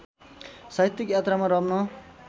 साहित्यिक यात्रामा रम्न